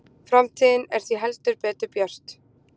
Framtíðin er því heldur betur björt